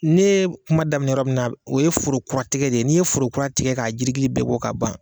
Ne ye kuma daminɛ yɔrɔ min na o ye foro kuratigɛ de ye n'i ye forokura tigɛ k'a jirigili bɛɛ bɔ k'a ban.